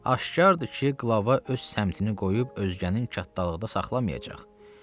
Aşkardır ki, qılava öz səmtini qoyub özgənin kattalıqda saxlamayacaq.